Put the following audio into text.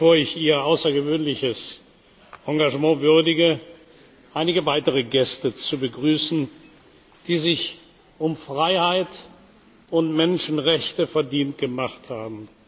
Mukwege, bevor ich Ihr außergewöhnliches Engagement würdige, einige weitere Gäste zu begrüßen, die sich um Freiheit und Menschenrechte verdient gemacht haben.